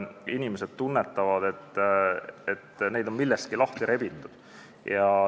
Inimesed tunnetavad, et neid on millestki lahti rebitud.